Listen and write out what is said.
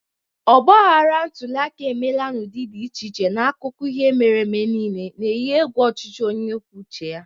Ogbaghara ntuli aka emela n'ụdị dị iche iche n'akụkọ ihe mere eme niile, na-eyi egwu ọchịchị onye kwuo uche ya.